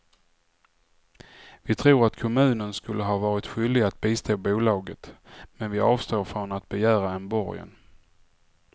Vi tror att kommunen skulle ha varit skyldig att bistå bolaget, men vi avstår från att begära en borgen.